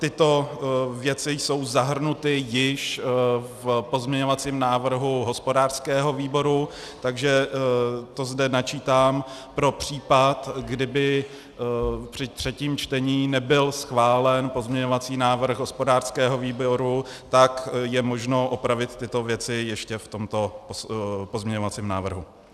Tyto věci jsou zahrnuty již v pozměňovacím návrhu hospodářského výboru, takže to zde načítám pro případ, kdyby při třetím čtení nebyl schválen pozměňovací návrh hospodářského výboru, tak je možno opravit tyto věci ještě v tomto pozměňovacím návrhu.